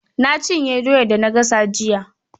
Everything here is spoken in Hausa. Na cinye doyar da na gasa jiya.